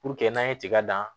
Puruke n'an ye tiga dan